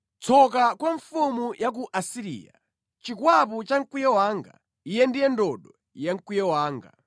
“Tsoka kwa mfumu ya ku Asiriya, chikwapu cha mkwiyo wanga, iye ndiye ndodo ya mkwiyo wanga!